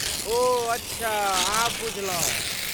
ओह अच्छा, आब बुझलहुँ।